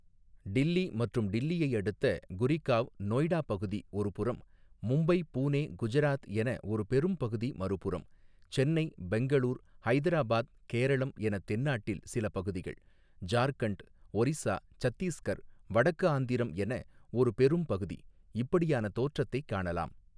டில்லி, மற்றும் டில்லியை அடுத்த, குரிகாவ் நோய்டா பகுதி ஒருபுறம், மும்பை, புனே, குஜராத், என ஒரு பெரும் பகுதி மறுபுறம், சென்னை, பெங்களூர், ஹைதராபாத், கேரளம், எனத் தென்னாட்டில், சில பகுதிகள், ஜார்க்கண்ட், ஒரிஸ்ஸா, சத்தீஸ்கர், வடக்கு ஆந்திரம், என ஒரு பெரும் பகுதி, இப்படியான தோற்றத்தைக் காணலாம்.